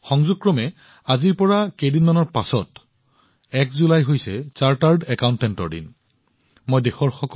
কাকতলীয়ভাৱে এতিয়াৰে পৰা কেইদিনমানৰ পিছত ১ জুলাইত চাৰ্টাৰ্ড একাউণ্টেণ্ট দিৱস উদযাপন কৰা হব